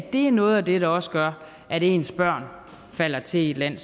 det er noget af det der også gør at ens børn falder til i et land